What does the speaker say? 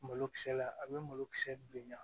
Malokisɛ la a bɛ malokisɛ bilenya